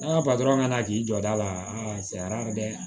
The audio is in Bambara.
N'a kana k'i jɔ a la a sariya bɛ